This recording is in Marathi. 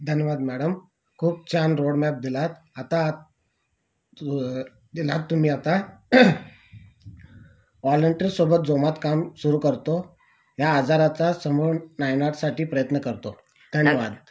धन्यवाद मॅडम खूप छान रोड मॅप दिलात आता दिला तुम्ही आता वॉलेंटियर सोबत जोमात काम सुरू करतो या आजाराचा समूळ नायनाट साठी प्रयत्न करतो धन्यवाद